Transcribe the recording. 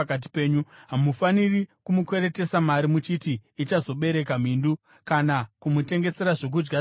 Hamufaniri kumukweretesa mari muchiti ichazobereka mhindu kana kumutengesera zvokudya zvine mhindu.